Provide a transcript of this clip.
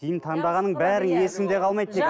киім таңдағаның бәрі есіңде қалмайды дейді